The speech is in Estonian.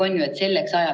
Aitäh, härra esimees!